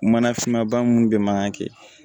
Mana finma ba minnu bɛ mankan kɛ